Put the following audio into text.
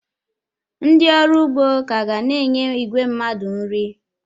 Ndị ọrụ ugbo ka ga na-enye igwe mmadụ nri.